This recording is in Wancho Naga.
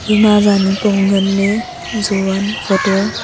kue ema zangpong ngaley jowan photo a.